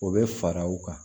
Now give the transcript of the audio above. O bɛ fara u kan